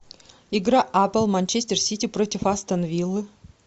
игра апл манчестер сити против астон виллы